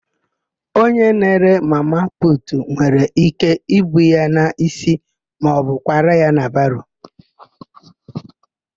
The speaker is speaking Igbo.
Onye na-ere mama putu nwere íké ibu ya n'ísí maọbụ kwara ya na baro.